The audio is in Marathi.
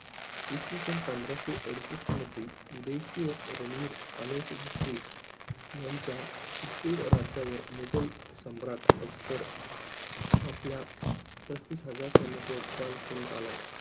इसविसन, पंधराशे अडुसष्ट मध्ये उदय सिंह रणवीर अनोसिद्ध्रे, यांच्या चीत्तुड राज्यावर मुघल सम्राट अकबर आपल्या, पस्तीस हजार सैन्यासह चाल करून आला.